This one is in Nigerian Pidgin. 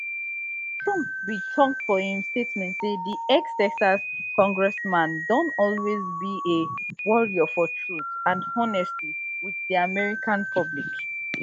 trump bin tok for im statement say di extexas congressman don always be a warrior for truth and honesty wit di american public